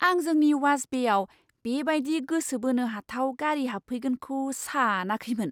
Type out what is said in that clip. आं जोंनि वाश बेआव बेबायदि गोसो बोनो हाथाव गारि हाबफैगोनखौ सानाखैमोन!